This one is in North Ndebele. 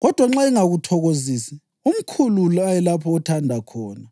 kodwa nxa engakuthokozisi, umkhulule ayelapho athanda khona.